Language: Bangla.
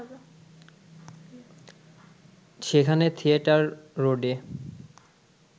সেখানে থিয়েটার রোডে